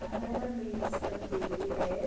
Não, era mista